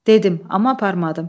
Dedim, amma aparmadım.